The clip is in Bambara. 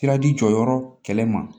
Siradi jɔyɔrɔ kɛlɛ ma